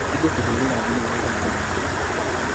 Nĩngũkũhũrĩra thimũ mathaa mangĩ